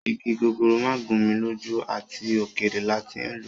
Igi gogoro ma gun mi loju, at okere la ti n lo